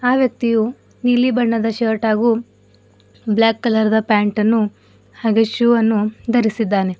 ಅ ವ್ಯಕ್ತಿಯು ನೀಲಿ ಬಣ್ಣದ ಶರ್ಟ್ ಹಾಗು ಬ್ಲಾಕ್ ಕಲರ್ ದ ಪ್ಯಾಂಟನ್ನು ಹಾಗೆ ಶೋ ಅನ್ನು ಧರಿಸಿದ್ದಾನೆ.